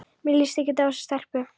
Mér líst ekkert á þessa stelpu.